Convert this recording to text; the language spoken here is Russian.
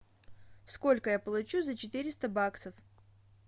сколько я получу за четыреста баксов